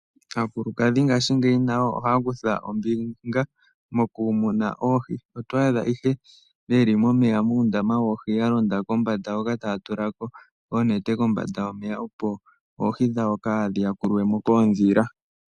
Aakulukadhi ngashingeyi nayo ohaya kutha ombinga mokumuna oohi. Oto adha ihe yeli momeya muundama woohi yalonda kombanda hoka taya tulako oonete kombanda yomeya, opo oohi dhawo kaadhi ya kulwepo koodhila.